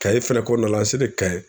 Kayes fɛnɛ kɔɔna la an selen Kayes